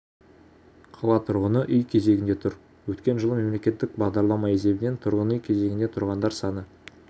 қала тұрғыны үй кезегінде тұр өткен жылы мемлекеттік бағдарлама есебінен тұрғын үй кезегінде тұрғандар саны